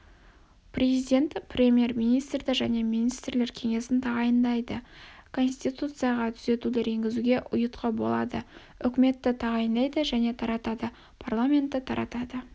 президент премьер-министрді және министрлер кеңесін тағайындайды конституцияға түзетулер енгізуге ұйытқы болады үкіметті тағайындайды және таратады парламентті таратады